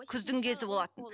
күздің кезі болатын